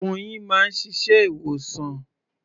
Oyin máa ń ṣiṣẹ́ ìwòsàn.